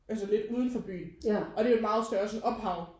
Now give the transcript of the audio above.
Altså lidt udenfor byen og det er jo et meget større sådan ophav